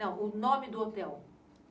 Não, o nome do hotel.